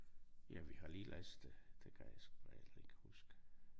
Ja vi har lige læst det det kan jeg sgu da heller ikke huske